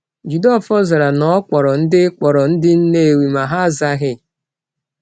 Jideofor zara na o kpọrọ ndị kpọrọ ndị Nnewi, ma ha azaghị.